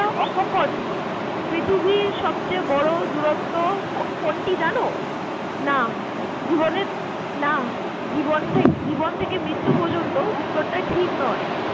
অকপট। পৃথিবীর সবচেয়ে বড় দুরত্ব কো~ কো~ কোনটি জানো? না। কোনটি? না জীবন থেকে মৃত্যু পর্যন্ত উত্তরটা ঠিক নয়